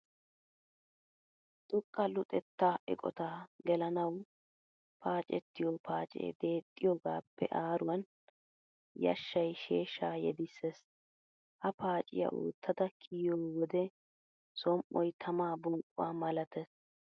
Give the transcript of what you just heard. Xoqqa luxettaa eqotaa gelanawu paacettiyo places deexxiyogaappe aaruwan yashshay sheeshshaa yedissees. Ha paaciya oottada kiyiyo wode som"oy tamaa bonqquwa malatees.